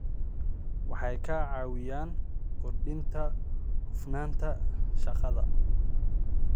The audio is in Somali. Waxay ka caawiyaan kordhinta hufnaanta shaqada.